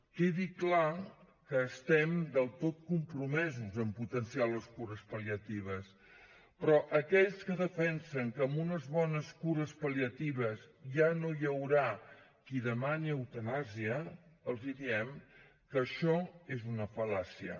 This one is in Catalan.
que quedi clar que estem del tot compromesos en potenciar les cures pal·liatives però a aquells que defensen que amb unes bones cures pal·liatives ja no hi haurà qui demani eutanàsia els diem que això és una fal·làcia